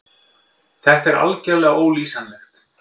Þetta er algerlega ólýsanlegt.